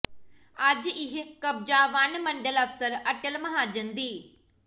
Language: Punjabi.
ਅੱਜ ਇਹ ਕਬਜ਼ਾ ਵਣ ਮੰਡਲ ਅਫਸਰ ਅਟੱਲ ਮਹਾਜਨ ਦੀ